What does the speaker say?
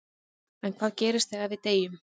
En hvað gerist þegar við deyjum?